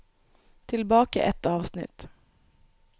Tilbake ett avsnitt